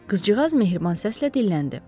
Qızcığaz mehriban səslə dilləndi: